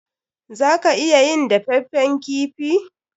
Za ka iya yin dafaffen kifi.